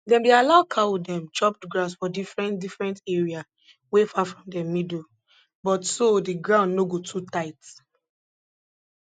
dem dey allow cow dem chop grass for different different area wey far from dem middle butso the ground no go too tight